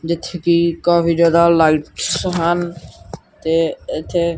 ਜਿੱਥੇ ਕਿ ਕਾਫੀ ਜਿਆਦਾ ਲਾਈਟਸ ਹਨ ਤੇ ਇਥੇ--